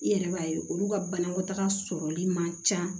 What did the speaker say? I yɛrɛ b'a ye olu ka banakɔtaga sɔrɔli man ca